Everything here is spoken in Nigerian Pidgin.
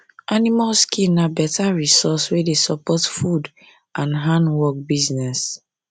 animal skin na better resource wey dey support food and handwork business